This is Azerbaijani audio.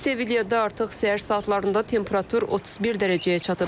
Sevilyada artıq səhər saatlarında temperatur 31 dərəcəyə çatıb.